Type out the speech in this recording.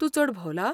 तूं चड भोंवला?